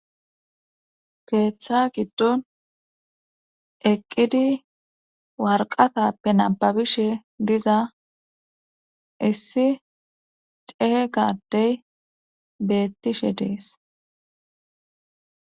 keeththa giddon eqqidi warqatappe nababishe diza issi ceega adey beettishe dees.